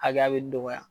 Hakɛya bɛ dɔgɔya